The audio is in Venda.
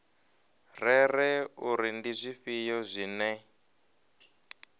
rere uri ndi zwifhio zwine